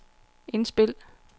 indspil